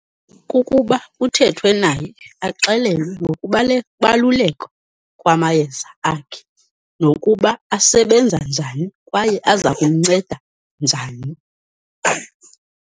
Kukuba kuthethwe naye, axelelwe ngokubaluleka kwamayeza akhe, nokuba asebenza njani kwaye azakumnceda njani.